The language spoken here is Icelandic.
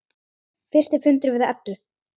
Fyrsti fundur við Eddu.